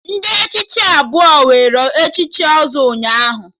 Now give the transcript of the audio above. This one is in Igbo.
Ndị Ichie abụọ were echichi ọzọ ụnyaahụ